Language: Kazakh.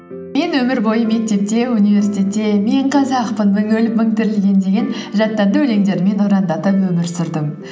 мен өмір бойы мектепте университетте мен қазақпын мың өліп мың тірілген деген жаттанды өлеңдермен ұрандатып өмір сүрдім